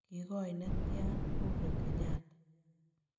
Kigoi netian Uhuru Kenyatta